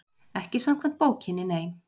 Ekki samkvæmt bókinni, nei.